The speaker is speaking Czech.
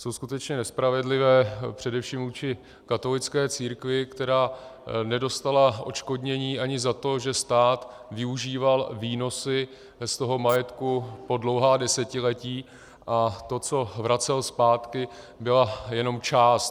Jsou skutečně nespravedlivé především vůči katolické církvi, která nedostala odškodnění ani za to, že stát využíval výnosy z toho majetku po dlouhá desetiletí a to, co vracel zpátky, byla jenom část.